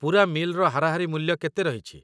ପୂରା ମିଲ୍‌ର ହାରାହାରି ମୂଲ୍ୟ କେତେ ରହିଛି?